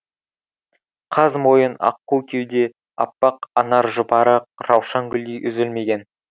қаз мойын аққу кеуде аппақ анаржұпары раушан гүлдей үзілмеген